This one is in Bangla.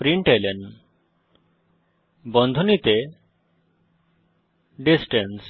প্রিন্টলন বন্ধনীতে ডিসট্যান্স